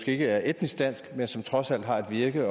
ikke er etniske danske men som trods alt har et virke